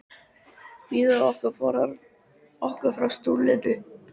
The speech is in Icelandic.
Biður okkur að forða okkur frá sullinu.